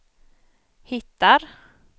hittar